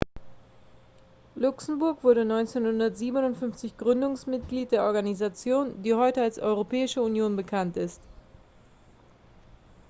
luxemburg wurde 1957 gründungsmitglied der organisation die heute als europäische union bekannt ist